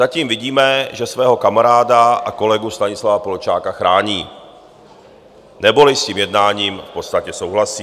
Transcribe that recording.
Zatím vidíme, že svého kamaráda a kolegu Stanislava Polčáka chrání, neboli s tím jednáním v podstatě souhlasí.